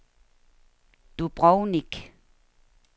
Dubrovnik